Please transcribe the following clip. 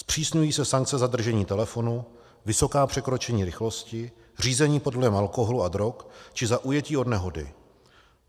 Zpřísňují se sankce za držení telefonu, vysoká překročení rychlosti, řízení pod vlivem alkoholu a drog či za ujetí od nehody.